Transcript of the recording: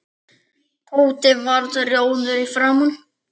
Tóti varð rjóður í framan.